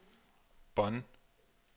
Bonn